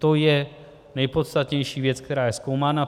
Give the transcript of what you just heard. To je nejpodstatnější věc, která je zkoumána.